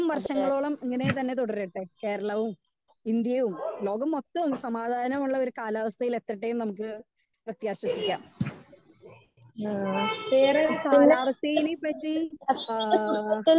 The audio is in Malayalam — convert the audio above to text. സ്പീക്കർ 1 പക്ഷെ അതെ ഏഹ് ഏഹ് പിന്നെ ഇത്രയും ഹസനത്തിന് എന്തെങ്കിലും ബുദ്ധിമുട്ടോ